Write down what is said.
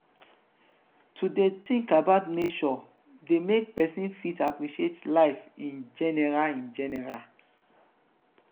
to de think about nature de make persin fit appreciate life in general in general